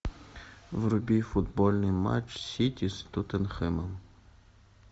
вруби футбольный матч сити с тоттенхэмом